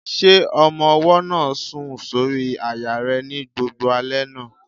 Ṣé ọmọ-ọwọ́ náà sùn sórí àyà rẹ ní gbogbo alẹ́ náà?